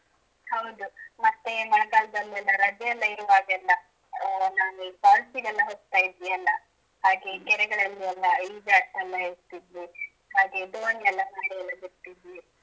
ಹೌದು ಮತ್ತೆ ಮಳೆಗಾಲದಲ್ಲಿ ಎಲ್ಲ ರಜೆ ಎಲ್ಲ ಇರುವಾಗ ಎಲ್ಲ ಹಾಂ ನಾವ್ falls ಗೆಲ್ಲಾ ಹೋಗ್ತಾ ಇದ್ವಿ ಎಲ್ಲ ಹಾಗೆ ಕೆರೆಗಳಲ್ಲಿ ಎಲ್ಲ ಈಜಾಡುತಾ ಇರ್ತಿದ್ವಿ ಹಾಗೆ ದೋಣಿ ಎಲ್ಲ ಮಾಡಿ ಎಲ್ಲ ಬಿಡ್ತಿದ್ವಿ.